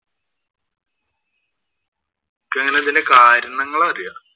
നിനക്കെങ്ങനെ ഇതിന്‍റെ കാരണങ്ങള്‍ അറിയോ?